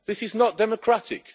This is not democratic.